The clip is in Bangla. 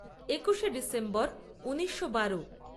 একুশে ডিসেম্বর ঊনিশো বারো